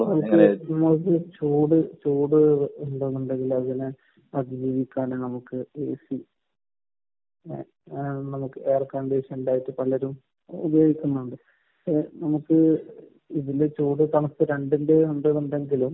ചൂട് ചൂട് ഇടണമെന്നുണ്ടെങ്കിൽ അതിനെ അതിന് വേണ്ടിയിട്ടാണ് നമുക്ക് എ.സി. അങ്ങനെയാണ് നമുക്ക് എയർ കണ്ടിഷൻ ഉണ്ടായിട്ട് പലരും ഉപയോഗിക്കുന്നുണ്ട്. നമുക്ക് ഇതിൽ ചൂട് , തണുപ്പ് രണ്ടിന്റെയും ഇത് ഉണ്ടെങ്കിലും